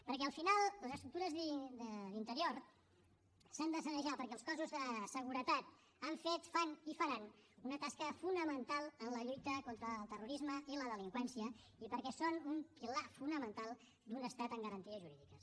perquè al final les estructures d’interior s’han de sanejar perquè els cossos de seguretat han fet fan i faran una tasca fonamental en la lluita contra el terrorisme i la delinqüència i perquè són un pilar fonamental d’un estat amb garanties jurídiques